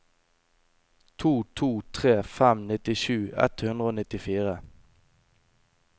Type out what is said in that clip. to to tre fem nittisju ett hundre og nittifire